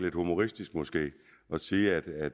lidt humoristisk måske at sige at